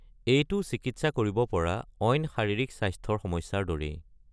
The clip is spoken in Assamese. এইটো চিকিৎসা কৰিব পৰা অইন শাৰীৰিক স্বাস্থ্যৰ সমস্যাৰ দৰেই।